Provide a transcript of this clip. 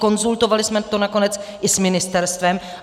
Konzultovali jsme to nakonec i s ministerstvem.